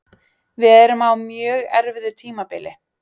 Við erum á mjög erfiðu tímabili